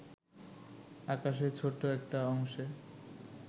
আকাশের ছোট্ট একটা অংশে